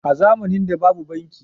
a zamanin da babu banki